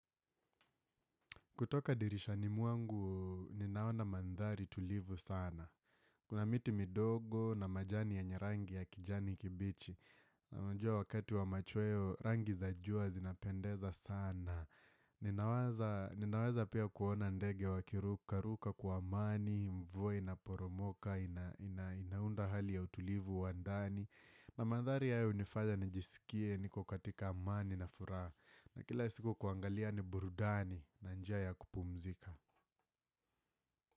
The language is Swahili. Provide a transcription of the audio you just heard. Kutoka dirishani mwangu, ninaona mandhari tulivu sana. Kuna miti midogo na majani ya yenyerangi ya kijani kibichi. Na unajua wakati wa machweo, rangi za jua zinapendeza sana. Ninawaza pia kuona ndege wakiruka, ruka kwa amani, mvua ina poromoka, inaunda hali ya utulivu, wandani. Na mandhari yao hunifanyaa nijisikie, niko katika amani na furaha. Na kila siku kuangalia ni burudani na njia ya kupumzika.